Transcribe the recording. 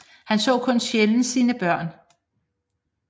Han så kun sjældent sine børn